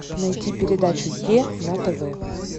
найти передачу е на тв